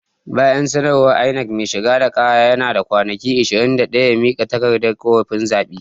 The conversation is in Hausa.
Bayan sanarwar INEC, mai shigar da kara yana da kwanaki ishirin da daya ya mika takardar korafin zaɓe.